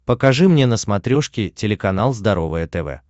покажи мне на смотрешке телеканал здоровое тв